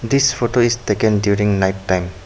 This photo is taken during night time.